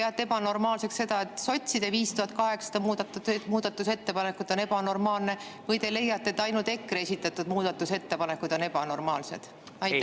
Ja kas te peate ebanormaalseks sotside 5800 muudatusettepanekut või te leiate, et ainult EKRE esitatud muudatusettepanekud on ebanormaalsed?